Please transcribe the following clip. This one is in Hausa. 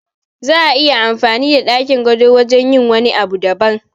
Za'a iya amfani da ɗakin gado wajen yin wani abun daban